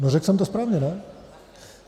No řekl jsem to správně, ne?